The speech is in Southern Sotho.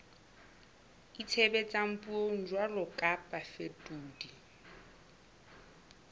itshebetsang puong jwalo ka bafetoledi